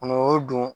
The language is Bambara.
don